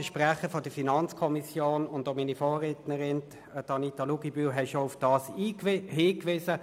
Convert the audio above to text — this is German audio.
Der Sprecher der FiKo und auch meine Vorrednerin Grossrätin Luginbühl haben bereits darauf hingewiesen.